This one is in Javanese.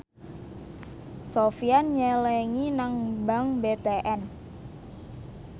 Sofyan nyelengi nang bank BTN